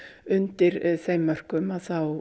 undir þeim mörkum að þá